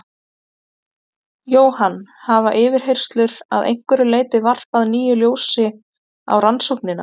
Jóhann: Hafa yfirheyrslur að einhverju leyti varpað nýju ljósi á rannsóknina?